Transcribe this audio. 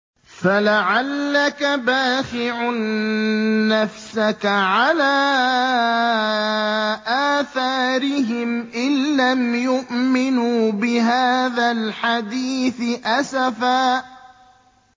فَلَعَلَّكَ بَاخِعٌ نَّفْسَكَ عَلَىٰ آثَارِهِمْ إِن لَّمْ يُؤْمِنُوا بِهَٰذَا الْحَدِيثِ أَسَفًا